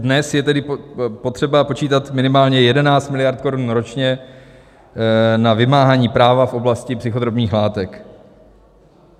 Dnes je tedy potřeba počítat minimálně 11 miliard korun ročně na vymáhání práva a oblasti psychotropních látek.